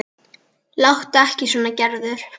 Láttu ekki svona Gerður.